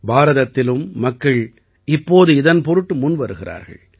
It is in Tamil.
பாரதத்திலும் மக்கள் இப்போது இதன் பொருட்டு முன்வருகிறார்கள்